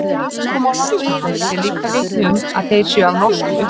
Tungumál landsmanna ber líka vitni um að þeir séu af norskum uppruna.